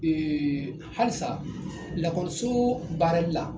Ee halisa lakɔliso baarali la